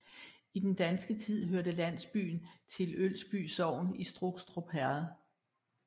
I den danske tid hørte landsbyen til i Ølsby Sogn i Strukstrup Herred